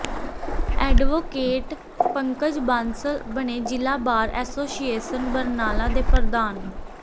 advocate Pankaj Bansal ਬਣੇ ਜ਼ਿਲ੍ਹਾ bar association Barnala ਦੇ ਪ੍ਰਧਾਨ